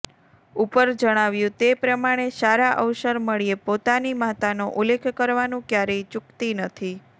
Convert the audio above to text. ઉપર જણાવ્યું તે પ્રમાણે સારા અવસર મળ્યે પોતાની માતાનો ઉલ્લેખ કરવાનું ક્યારેય ચૂકતી નથી